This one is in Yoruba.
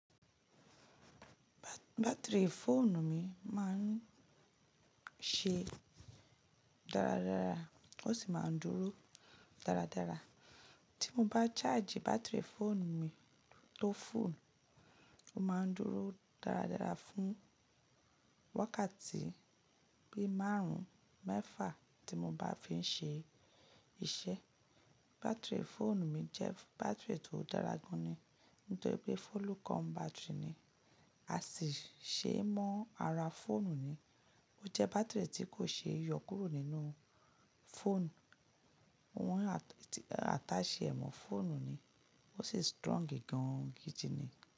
Batiri fóònù mi máa ń ṣe dáradára ó sì máa ń dúró dáradára. Tí mo bá charge batiri fóònù mi tó fúll ó máa ń dúró dáradára fún wákàtí bí márùn-ún mẹ́fà tí mo bá fi ń ṣe iṣẹ́. Batiri fóònù mi jẹ́ batiri tó dára gan ni nítorí pé follow come batiri ni, a sì ṣe mọ́ ara fóònù ni. Ó jẹ́ batiri tí kò ṣe é yọ kúrò nínú fóònù. Wọ́n ataṣe ẹ̀ mọ́ fóònù ni ó sì strong gan gidi ni.